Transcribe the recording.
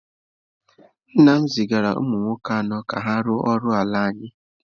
Nna m zigara ụmụ nwoke anọ ka ha rụọ ọrụ ala anyị.